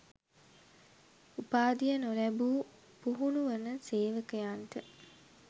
උපාධිය නොලැබූ පුහුණු වන සේවකයන්ට